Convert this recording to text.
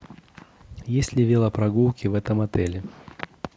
есть ли велопрогулки в этом отеле